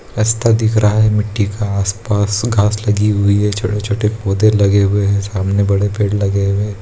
रास्ता दिख रहा है मिट्टी का आसपास घास लगी हुई है छोटे-छोटे पौधे लगे हुए हैं सामने बड़े पेड़ लगे हुए --